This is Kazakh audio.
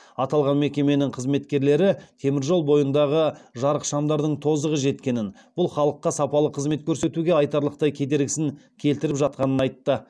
аталған мекеменің қызметкерлері темір жол бойындағы жарықшамдардың тозығы жеткенін бұл халыққа сапалы қызмет көрсетуге айтарлықтай кедергісін келтіріп жатқанын айтты